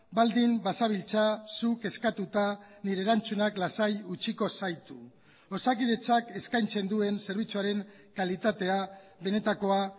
baldin bazabiltza zuk eskatuta nire erantzunak lasai utziko zaitu osakidetzak eskaintzen duen zerbitzuaren kalitatea benetakoa